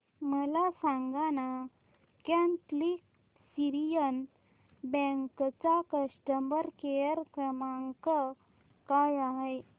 मला सांगाना Catholic Syrian Bank चा कस्टमर केअर क्रमांक काय आहे